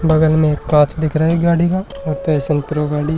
वगल में एक कांच दिख रहे है गाड़ी का और पैशन प्रो गाड़ी --